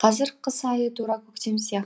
қазір қыс айы тура көктем сияқты